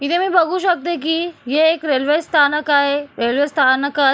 इथे मी बघू शकते की हे एक रेल्वे स्थानक आहे रेल्वे स्थानकात --